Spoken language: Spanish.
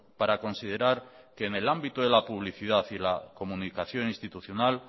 para considerar que en el ámbito de la publicidad y la comunicación institucional